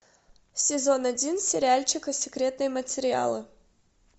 сезон один сериальчика секретные материалы